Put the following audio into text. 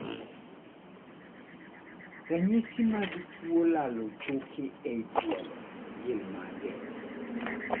Ranyisi mag tuo lalo choke e tielo gin mage?